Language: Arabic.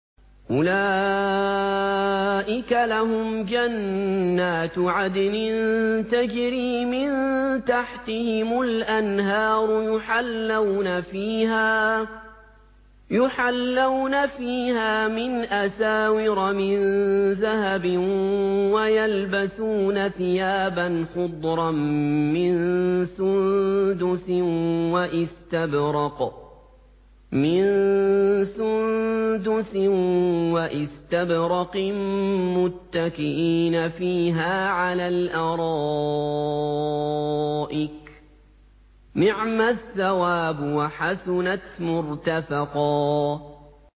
أُولَٰئِكَ لَهُمْ جَنَّاتُ عَدْنٍ تَجْرِي مِن تَحْتِهِمُ الْأَنْهَارُ يُحَلَّوْنَ فِيهَا مِنْ أَسَاوِرَ مِن ذَهَبٍ وَيَلْبَسُونَ ثِيَابًا خُضْرًا مِّن سُندُسٍ وَإِسْتَبْرَقٍ مُّتَّكِئِينَ فِيهَا عَلَى الْأَرَائِكِ ۚ نِعْمَ الثَّوَابُ وَحَسُنَتْ مُرْتَفَقًا